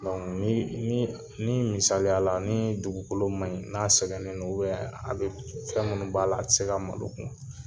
ni misaliya la ni dugukolo man ɲi n'a sɛgɛnnen don bɛ a bɛ fɛn minnu b'a la a tɛ se ka malo kun